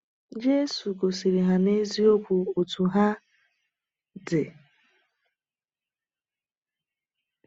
Jésù gosiri ha n’eziokwu otú ha dị!